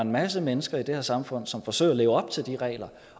en masse mennesker i det her samfund som forsøger at leve op til de regler